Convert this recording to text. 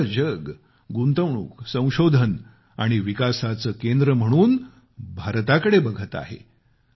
सगळं जग गुंतवणूक संशोधन आणि विकासाचं केंद्र म्हणून भारताकडे बघत आहे